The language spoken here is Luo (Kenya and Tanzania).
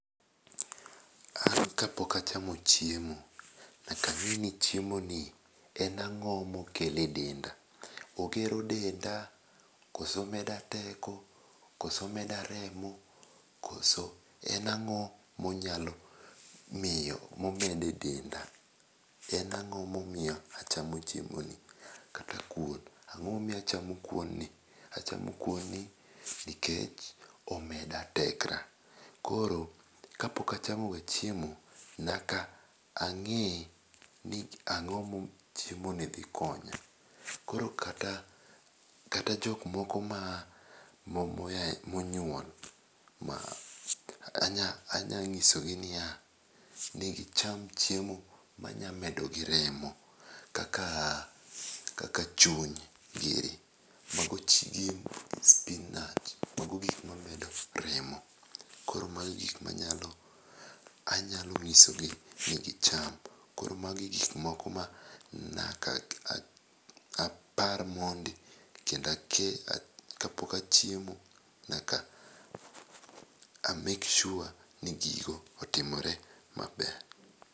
An kapok achamo chiemo, nyaka ng'i ni chiemo ni en ang'o mokele denda. Ogero denda, koso omeda teko, koso omeda remo, koso enang'o monyalo miyo momede denda? En ang'o momiyo achamo chiemo ni kata kuon? Ang'o momiyo achamo kuon ni? Achamo kuon ni nikech omeda tekra, koro kapok achamoga chiemo, nyaka ang'i ni ang'o mo chiemo ni dhi konya. Koro kata jok moko ma monyuol ma anyang'isogi niya, ni gicham chiemo manyamedogi remo, kaka chuny giri, mago gin gi spinach. Mago gik mamedo remo, koro mago gik manyalo anyalo nyisogi ni gicham. Koro magi gik moko ma nyaka apar mondi kendo kapok achiemo naka a make sure ni gigo otimore maber.